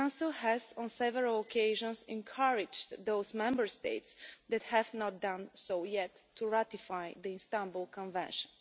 The Council has, on several occasions, encouraged those Member States who have not done so yet to ratify the Istanbul Convention.